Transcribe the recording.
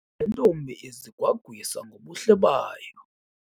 Le ntombi izigwagwisa ngobuhle bayo.